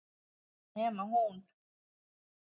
Nema hún.